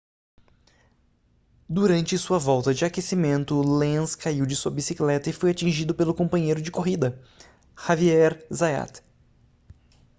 durante sua volta de aquecimento lenz caiu de sua bicicleta e foi atingido pelo companheiro de corrida xavier zayat